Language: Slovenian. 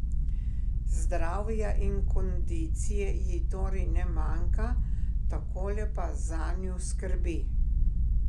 Zdravja in kondicije ji torej ne manjka, takole pa zanju skrbi.